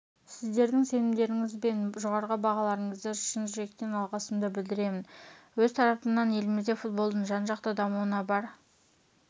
сіздердің сенімдеріңіз бен жоғары бағаларыңызды шын жүректен алғысымды білдіремін өз тарапымнан елімізде футболдың жан-жақты дамуына бар